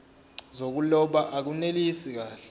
zokuloba akunelisi kahle